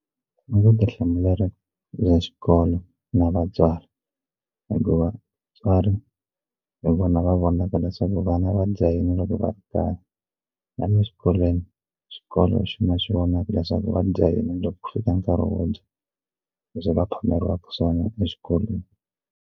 I vutihlamuleri bya xikolo na vatswari hikuva vatswari hi vona va vonaka leswaku vana va dya yini loko va ri kaya na le xikolweni swikolo swi vonaka leswaku va dya yini loko ku fika nkarhi wo dya leswi va phameriwaka swona exikolweni.